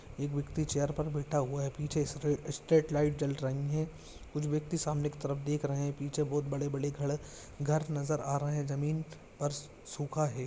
एक व्यक्ति चेयर पर बैठा हुआ है पीछे सफेद स्ट्रे स्ट्रेट लाइट जल रही है कुछ व्यक्ति सामने की तरफ देख रहे हैं पीछे बहुत बड़े-बड़े खड़ घर नजर आ रहे हैं जमीन पर सूखा है।